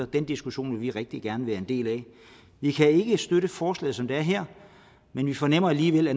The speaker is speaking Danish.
den diskussion vil vi rigtig gerne være en del af vi kan ikke støtte forslaget som det er her men vi fornemmer alligevel at